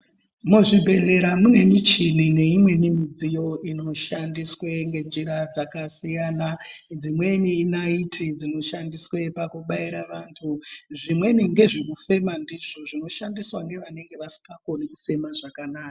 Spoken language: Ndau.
Muzvibhehlera mune muchini neimweni midziyo inoahandiswa ngenjira dzakasiyana dzimweni inaiti dzoshandiswa pakubaira antu zvimweni ndezvekufema ndizvo zvinoshandiswa nevanenge vasingakoni kufema zvakanaka.